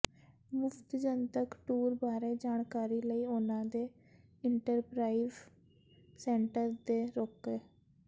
ਮੁਫਤ ਜਨਤਕ ਟੂਰ ਬਾਰੇ ਜਾਣਕਾਰੀ ਲਈ ਉਹਨਾਂ ਦੇ ਇੰਟਰਪ੍ਰਾਈਵਵ ਸੈਂਟਰ ਤੇ ਰੋਕੋ